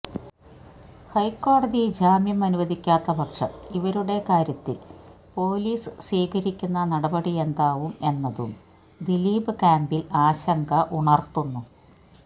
ഹൈക്കോടതി ജാമ്യം അനുവദിക്കാത്ത പക്ഷം ഇവരുടെ കാര്യത്തില് പോലീസ് സ്വീകരിക്കുന്ന നടപടിയെന്താവും എന്നതും ദീലിപ് ക്യാംപില് ആശങ്ക ഉണര്ത്തുന്നു